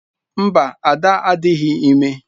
Mba, Ada adịghị ime.